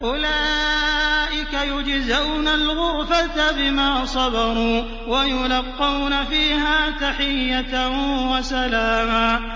أُولَٰئِكَ يُجْزَوْنَ الْغُرْفَةَ بِمَا صَبَرُوا وَيُلَقَّوْنَ فِيهَا تَحِيَّةً وَسَلَامًا